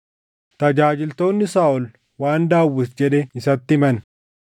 Tajaajiltoonni Saaʼol waan Daawit jedhe isatti himan;